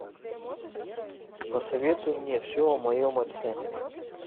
посоветуй мне все о моем отце